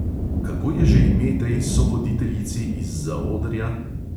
Kako je že ime tej sovoditeljici iz zaodrja?